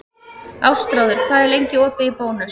Ástráður, hvað er lengi opið í Bónus?